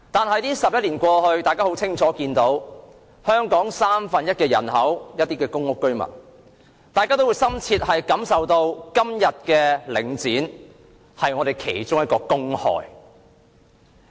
可是 ，11 年過去，大家已清楚看到，而佔香港三分之一人口的公屋居民則深切感受到，今天的領展是本港其中一個公害。